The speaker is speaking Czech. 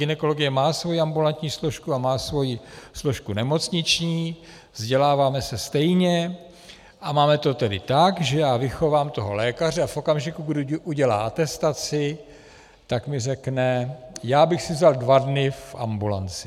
Gynekologie má svoji ambulantní složku a má svoji složku nemocniční, vzděláváme se stejně, a máme to tedy tak, že já vychovám toho lékaře a v okamžiku, kdy udělá atestaci, tak mi řekne, já bych si vzal dva dny v ambulanci.